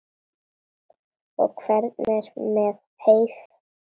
Og hvernig er með heyið?